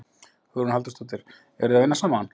Hugrún Halldórsdóttir: Eru þið að vinna saman?